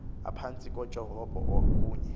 aphantsi kotyhopho kunye